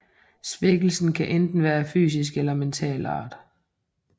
Svækkelsen kan enten være af fysisk eller mental art